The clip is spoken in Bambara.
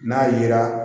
N'a yera